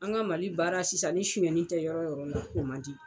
An ka Mali baara sisan ni suyɛnin tɛ yɔrɔ yɔrɔ la o man di.